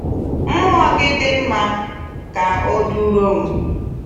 Mmụọ gị dị mma; kà ọ dụrọ m.